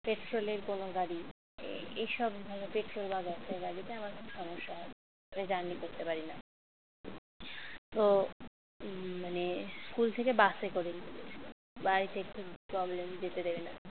petrol এর কোন গাড়ি এসব বা petrol বা gas এর গাড়িতে আমার খুব সমস্যা হয় তাই journey করতে পারি না তো মানে school থেকে বাসে করে নিয়ে গেছিল বাড়িতে একটু problem যেতে দেবে না